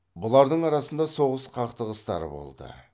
бұлардың арасында соғыс қақтығыстары болды